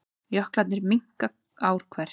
Jöklarnir minnka ár hvert